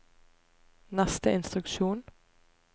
neste instruksjon